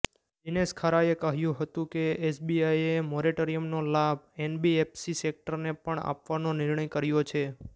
દિનેશ ખારાએ કહ્યું હતું કે એસબીઆઈએ મોરેટોરિયમનો લાભ એનબીએફસી સેક્ટરને પણ આપવાનો નિર્ણય કર્યો છે